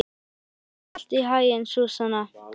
Gangi þér allt í haginn, Súsanna.